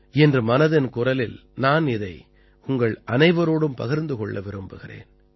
இன்று மனதின் குரலில் நான் இதை உங்கள் அனைவரோடும் பகிர்ந்து கொள்ள விரும்புகிறேன்